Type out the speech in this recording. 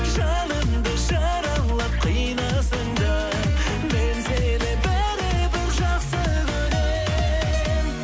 жанымды жаралап қинасаң да мен сені бәрібір жақсы көрем